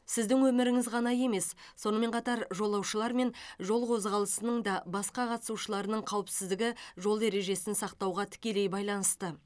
сіздің өміріңіз ғана емес сонымен қатар жолаушылар мен жол қозғалысының да басқа қатысушыларының қауіпсіздігі жол ережесін сақтауға тікелей байланысты